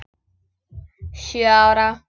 Sjö ára.